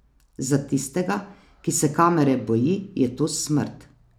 Za tistega, ki se kamere boji, je to smrt.